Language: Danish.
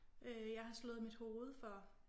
Øh jeg har slået mit hoved for